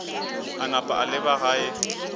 a napa a leba gae